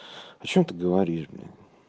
о чём ты говоришь бля